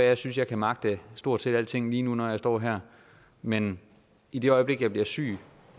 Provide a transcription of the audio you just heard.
jeg synes jeg kan magte stort set alting lige nu når jeg står her men i det øjeblik jeg bliver syg